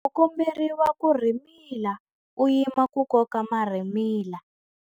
U komberiwa ku rhimila u yima ku koka marhimila.